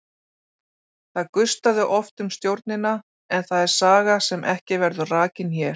Það gustaði oft um stjórnina en það er saga sem ekki verður rakin hér.